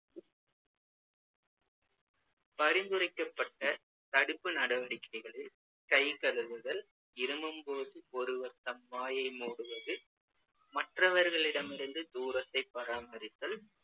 பரிந்துரைக்கப்பட்ட தடுப்பு நடவடிக்கைகளில் கை கழுவுதல், இருமும்போது ஒருவர் தம் வாயை மூடுவது, மற்றவர்களிடமிருந்து தூரத்தை பராமரித்தல்,